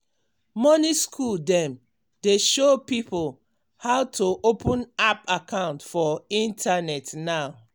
money school dem dey show pipo how to open app account for internet now.